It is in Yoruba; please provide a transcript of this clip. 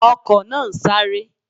Ọkò náà ń sáré